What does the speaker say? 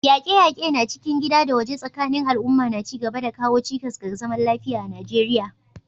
Yaƙe-yaƙe na cikin gida da waje tsakanin al'umma na ci gaba da kawo cikas ga zaman lafiya a Najeriya.